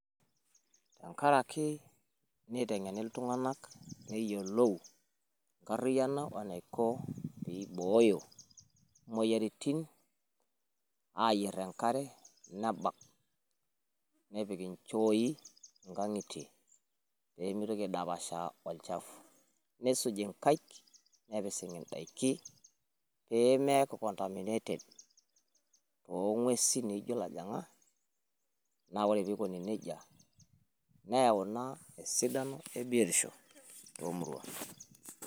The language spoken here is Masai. Enkaraki nitegeni iltung'anak neyiolou enkariyiano o eniko pee ibooyo imoyiaritin. aayier enkare nebak nepik nchooi ingang'itie pee mitoki aidapashaa olchafu nisuji nkaik nepising'i n'daiki. Pee meeku contaminated too ng'uesi naijo ilojong'ak. Naa ore pee ikoni neijia neyau ina esidano too Muruan.